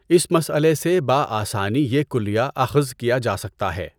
اس مسلئہ سے بآسانی یہ کلیہ اخذ کیا جا سکتا ہے۔